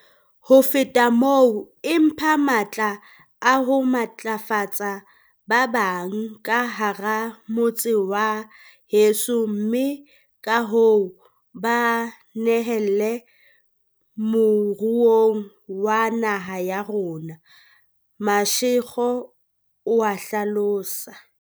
"Ho feta moo, e mpha matla a ho matlafatsa ba bang ka hara motse wa heso mme kahoo ba nyehele moruong wa naha ya rona," Mashego o a hlalosa.